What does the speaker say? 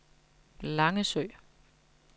Langesø